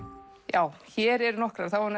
já hér eru nokkrar það var